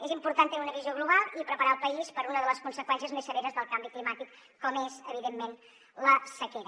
és important tenir una visió global i preparar el país per a una de les conseqüències més severes del canvi climàtic com és evidentment la sequera